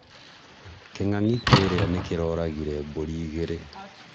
Kĩng'ang'i kĩrĩa nĩkĩroragire mbũri igĩrĩ